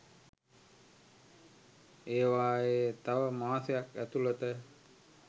ඒවායේ තව මාසයක් ඇතුළත